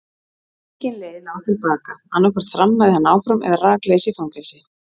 Engin leið lá til baka, annaðhvort þrammaði hann áfram eða rakleiðis í fangelsi.